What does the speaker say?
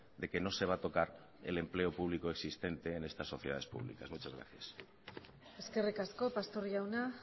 de que no se va a tocar el empleo público existente en esta sociedades publicas muchas gracias eskerrik asko pastor jauna